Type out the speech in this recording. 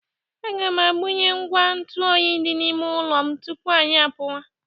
Aga m agbanyụ ngwa ntụ oyi dị n’ime ụlọ m tupu anyị apuwa.